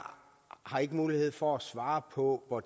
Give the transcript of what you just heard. har ikke mulighed for at svare på hvor